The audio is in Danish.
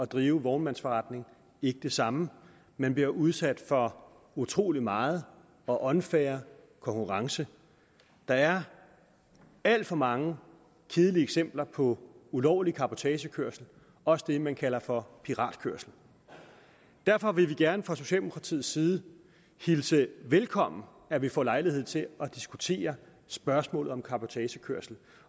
drive vognmandsforretning ikke det samme man bliver udsat for utrolig meget og unfair konkurrence der er alt for mange kedelige eksempler på ulovlig cabotagekørsel også det man kalder for piratkørsel derfor vil vi gerne fra socialdemokratiets side hilse velkommen at vi får lejlighed til at diskutere spørgsmålet om cabotagekørsel